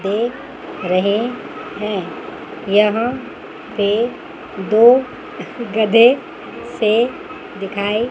देख रहे हैं यहां एक दो गधे से दिखाई--